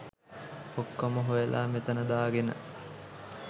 ඔක්කොම හොයලා මෙතන දාගෙන